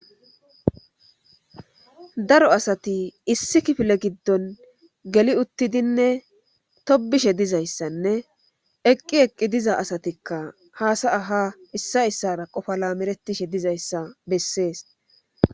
daro asati issi kifile giddon geli uttidinne tobishe dizayssanne eqqi eqqi diza asatikka haasa'a ha issa issara qofa lamerettishe dizayssa bessees